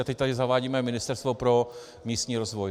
A teď tady zavádíme Ministerstvo pro místní rozvoj.